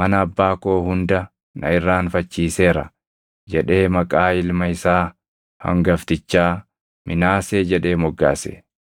mana abbaa koo hunda na irraanfachiiseera” jedhee maqaa ilma isaa hangaftichaa Minaasee jedhee moggaase.